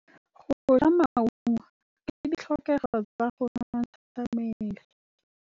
Go ja maungo ke ditlhokegô tsa go nontsha mmele.